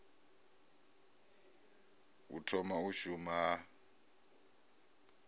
u thoma u shuma ha